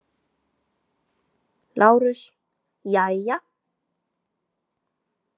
LÁRUS: Jæja!